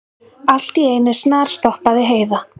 Allt í einu snarstoppaði Heiða.